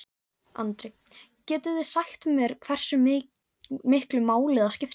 Andri: Getið þið sagt mér hversu miklu máli það skiptir?